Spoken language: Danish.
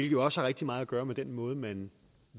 jo også har rigtig meget at gøre med den måde man